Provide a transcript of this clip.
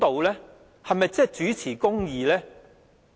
是否真正秉持公義？